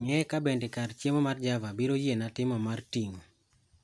Ng'ee kabende kar chiemo mar java biro yiena timo mar ting'o